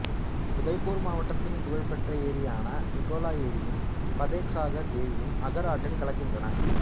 உதய்பூர் மாவட்டத்தின் புகழ்பெற்ற ஏரியான பிகோலா ஏரியும் பதேக் சாகர் ஏரியும் அகர் ஆற்றில் கலக்கின்றன